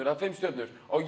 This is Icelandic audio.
eða fimm stjörnur á